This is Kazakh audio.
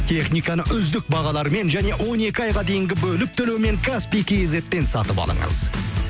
техниканы үздік бағалармен және он екі айға дейінгі бөліп төлеумен каспий кизеттен сатып алыңыз